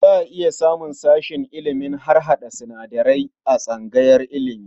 Za a iya samun sashen ilimin harhaɗa sinadarai a tsangayar ilimi.